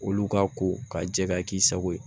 Olu ka ko ka jɛ ka k'i sago ye